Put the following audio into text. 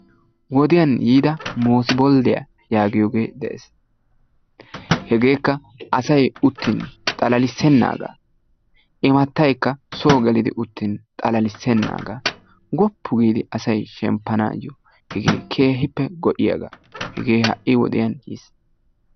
Wodiyan yiida moosibolddiya yaagiyogee de"es. Hegeekka asayi utyin xalalissennaaga. Imattaykka soo gelidi uttin xalalissennaaga. Woppu giidi asayi shemppanaayyo hegee keehippe go"iyaga hegee ha"i wodiyan yis.